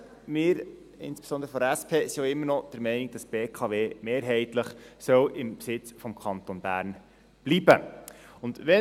Wir sind, insbesondere seitens der SP, auch immer noch der Meinung, dass die BKW mehrheitlich im Besitz des Kantons Bern bleiben soll.